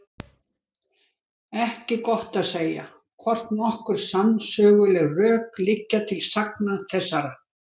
Ekki er gott að segja, hvort nokkur sannsöguleg rök liggja til sagna þessara.